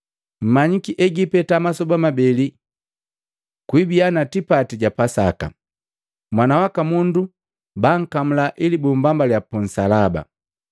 “Mmanyiki egipeta masoba mabeli gibiya tipati ja Pasaka, Mwana waka Mundu bankamula ili bumbambaliya pu nsalaba.”